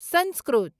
Sanskrit